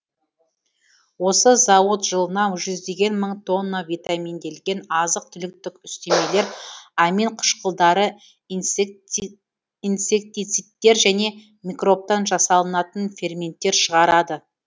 осы зауыт жылына жүздеген мың тонна витаминделген азық түліктік үстемелер аминкышқылдары инсектицидтер және микробтан жасалынатын ферменттер шығарады